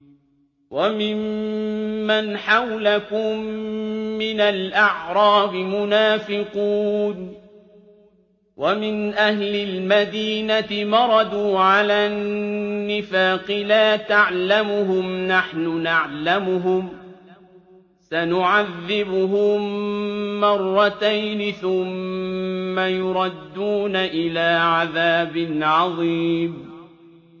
وَمِمَّنْ حَوْلَكُم مِّنَ الْأَعْرَابِ مُنَافِقُونَ ۖ وَمِنْ أَهْلِ الْمَدِينَةِ ۖ مَرَدُوا عَلَى النِّفَاقِ لَا تَعْلَمُهُمْ ۖ نَحْنُ نَعْلَمُهُمْ ۚ سَنُعَذِّبُهُم مَّرَّتَيْنِ ثُمَّ يُرَدُّونَ إِلَىٰ عَذَابٍ عَظِيمٍ